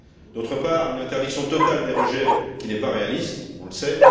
D'autre part, une interdiction totale des rejets n'est pas réaliste, on le sait.